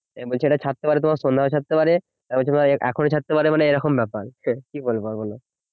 বলছে এটা ছাড়তে পারে তোমার সন্ধাবেলায় ছাড়তে পারে এখনো ছাড়তে পারে মানে এরকম ব্যাপার কি বলবো আর বলো